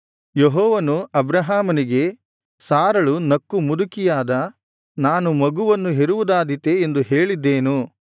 ಯೆಹೋವನು ಅಬ್ರಹಾಮನಿಗೆ ಸಾರಳು ನಕ್ಕು ಮುದುಕಿಯಾದ ನಾನು ಮಗುವನ್ನು ಹೆರುವುದಾದೀತೇ ಎಂದು ಹೇಳಿದ್ದೇನು